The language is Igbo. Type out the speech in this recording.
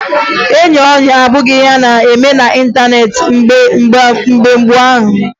Ịyị ọyị abụghị ihe a na-eme n'ịntaneetị mgbe gboo